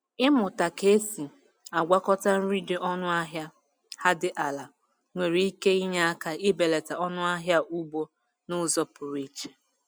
Ịmụta ka esi agwakọta nri dị ọnụ ahịa ha dị ala nwere ike inye aka ibelata ọnụ ahịa ugbo n’uzo pụrụ iche